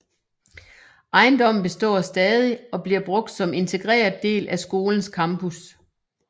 Ejendommen består stadig og bliver brugt som integreret del af skolens campus